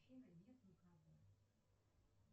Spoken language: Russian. нет никого